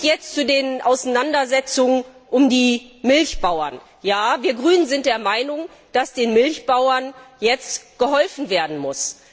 Jetzt zu den Auseinandersetzungen um die Milchbauern Wir Grünen sind der Meinung, dass den Milchbauern jetzt geholfen werden muss.